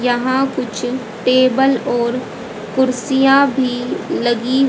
यहां कुछ टेबल और कुर्सियां भी लगी--